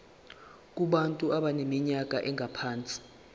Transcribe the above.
kubantu abaneminyaka engaphansi